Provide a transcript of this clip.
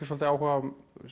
svolítið áhuga á